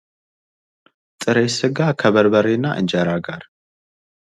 ጥበብ የሰዎችን ስሜት፣ ሐሳብና እይታ በፈጠራ መንገድ የሚገልጽ ሲሆን ባህል ደግሞ የአንድን ማህበረሰብ የአኗኗር ዘይቤ ነው።